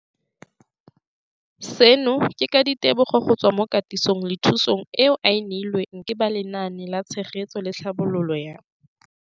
Seno ke ka ditebogo go tswa mo katisong le thu song eo a e neilweng ke ba Lenaane la Tshegetso le Tlhabololo ya